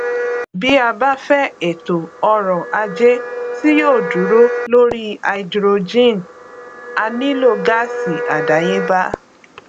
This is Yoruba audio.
bí a fẹ ètò ọrọ ajé tí yòó dúró lóri háídírójìn a nílò gáásì àdéyébá